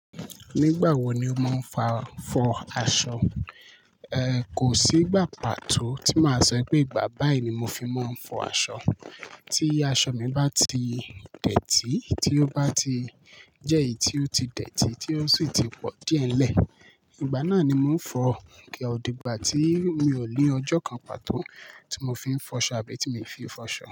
Nígbà wo ni mo máa ń fa, fọ aṣọ? Ehn, kò sí ìgbà pàtó tí màá sọ pe ìgbà báyìí ni mo fi máa ń fọ aṣọ. Tí aṣọ mi bá ti dẹ̀tì, tí ó bá ti jẹ́ èyí tí ó ti dẹ̀tì, tí ó sì ti pọ̀ díẹ̀nlẹ̀, ìgbà náà ni mò ń fọ. Kí ò di ìgbà tí mi ò ní ọjọ́ kan pàtó tí mo fi ń fọṣọ àbí tí mi fi fọ aṣọ.